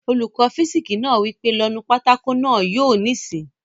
Olùkọ́ físìksì náà wí pé "lọ nu pátákó náà yóò níìsín!"